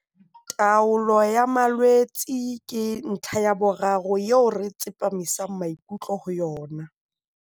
Taolo ya malwetse ke ntlha ya boraro eo re tsepamisang maikutlo ho yona.